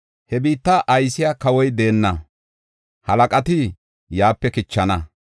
He biitta aysiya kawoy deenna; halaqati yaape kichana.